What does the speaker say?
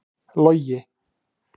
Logi